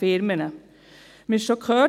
Wir haben es bereits gehört: